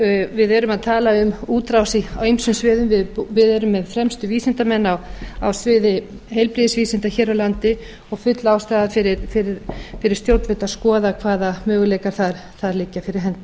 við erum að tala um útrás á ýmsum sviðum við erum með fremstu vísindamenn á sviði heilbrigðisvísinda hér á landi og full ástæða fyrir stjórnvöld að skoða hvaða möguleikar þar liggja fyrir hendi